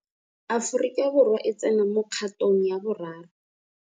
Aforika Borwa e tsena mo kgatong ya boraro.